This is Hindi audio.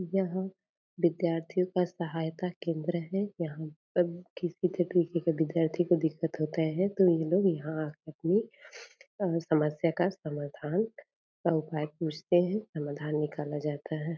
यह विद्यार्थीयों का सहायता केंद्र है यहाँ पर किसी भी तरीके का विद्यार्थी को दिक्कत होती है तो ये लोग यहाँ आकर अपनी समस्या का समाधान का उपाय पूछते है समाधान निकाला जाता है।